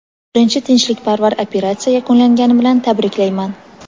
"Birinchi tinchlikparvar operatsiya yakunlangani bilan tabriklayman!".